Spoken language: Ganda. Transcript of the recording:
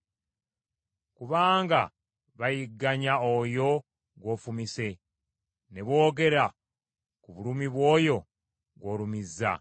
Kubanga bayigganya oyo gw’ofumise, ne boogera ku bulumi bw’oyo gw’olumizza.